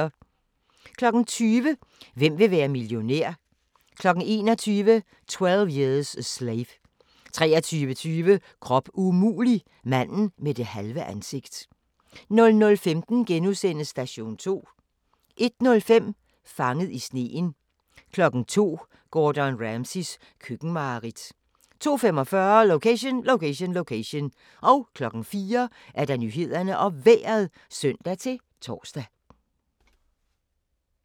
20:00: Hvem vil være millionær? 21:00: 12 Years a Slave 23:20: Krop umulig – manden med det halve ansigt 00:15: Station 2 * 01:05: Fanget i sneen 02:00: Gordon Ramsays køkkenmareridt 02:45: Location, Location, Location 04:00: Nyhederne og Vejret (søn-tor)